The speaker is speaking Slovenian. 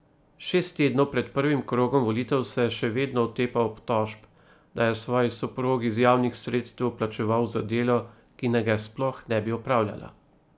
Šest tednov pred prvim krogom volitev se še vedno otepa obtožb, da je svoji soprogi iz javnih sredstev plačeval za delo, ki naj ga sploh ne bi opravljala.